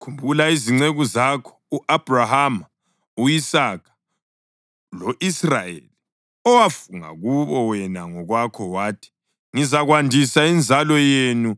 Khumbula izinceku zakho u-Abhrahama, u-Isaka lo-Israyeli owafunga kubo wena ngokwakho wathi, ‘Ngizakwandisa inzalo yenu